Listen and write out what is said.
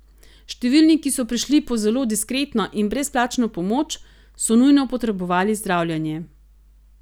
Številni, ki so prišli po zelo diskretno in brezplačno pomoč, so nujno potrebovali zdravljenje.